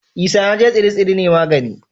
Isanaje tsire-tsire ne na magani